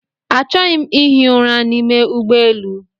Achọghị m ihi ụra n'ime ụgbọelu